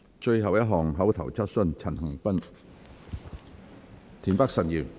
最後一項口頭質詢。